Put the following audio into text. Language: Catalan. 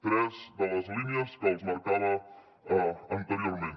tres de les línies que els marcava anteriorment